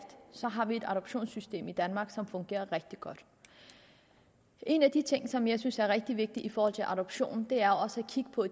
har vi et adoptionssystem i danmark som fungerer rigtig godt en af de ting som jeg synes er rigtig vigtig i forhold til adoption er også at kigge på